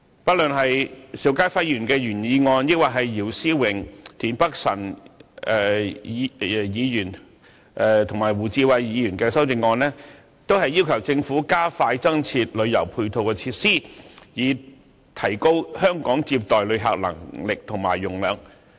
不論邵家輝議員的原議案，抑或姚思榮議員、田北辰議員和胡志偉議員的修正案，都要求政府加快增設旅遊配套設施，以提高香港接待旅客的能力和容量。